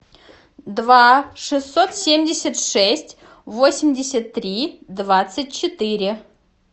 два шестьсот семьдесят шесть восемьдесят три двадцать четыре